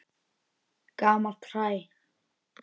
Gamalt hræ.